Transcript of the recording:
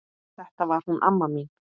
Þetta var hún amma mín.